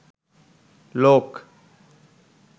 লোক